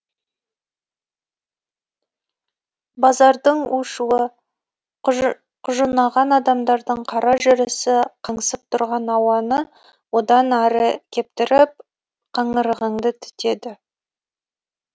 базардың у шуы құжынаған адамдардың қара жүрісі қаңсып тұрған ауаны одан әрі кептіріп қаңырығыңды түтеді